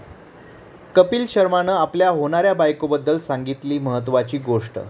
कपिल शर्मानं आपल्या होणाऱ्या बायकोबद्दल सांगितली महत्त्वाची गोष्ट